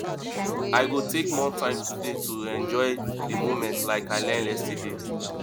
i go take more time today to enjoy di moments like i learned yesterday